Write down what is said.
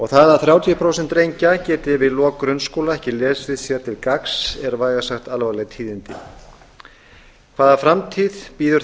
það að þrjátíu prósent drengja geti við lok grunnskóla ekki lesið sér til gagns er vægast sagt alvarleg tíðindi hvaða framtíð bíður